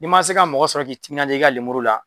Ii ma se ka mɔgɔ sɔrɔ k'i timinaja i ka lemuru la